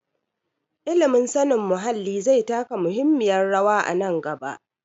Ilimin sanin muhalli zai taka muhimmiyar rawa a nan gaba.